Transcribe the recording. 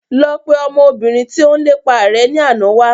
Lọ pe ọmọ obìnrin tí ó ń lépa rẹ ni àná wá